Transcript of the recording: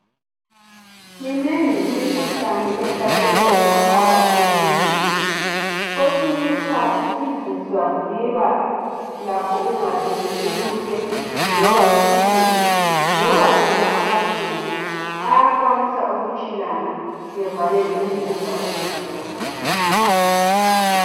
Minengi imikhuhlane ehlasela ingaphakathi komzimba, kwesinye isikhathi izinswa ziba lakho ukungasebenzi kuhle loba isibindi, loba wona amathumbu, ayakwanisa ukutshilana evalele ukudla ukudlula.